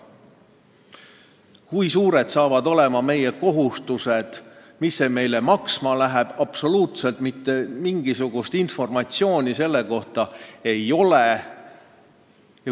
Kui suured saavad olema meie kohustused, mis see meile maksma läheb – mitte mingisugust informatsiooni selle kohta ei ole.